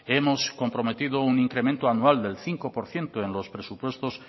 hemos comprometido un incremento anual del cinco por ciento en los presupuestos